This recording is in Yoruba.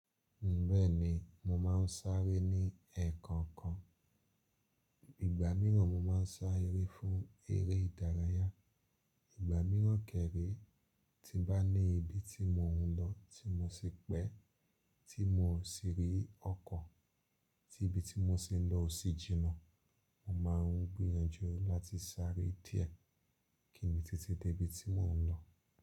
Bẹ́ẹ̀ni mo máa ń sáré ní ẹ̀ẹ̀kọ̀kan. Ìgbà mìíràn mo máa ń sáré fún eré ìdárayá. Ìgbà mìíràn kẹ̀re tí bá ní ibi tí mò ń lọ tí mo ṣe pẹ́, tí mo sì rí ọkọ̀ tí ibi tí mo ṣe ń lọ ò sí jiná, mo máà ń gbìyànjú láti sáré díẹ̀ kí ń le tete dé ibi tí mò ń lọ.